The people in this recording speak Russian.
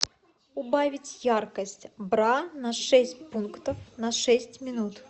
убавить яркость бра на шесть пунктов на шесть минут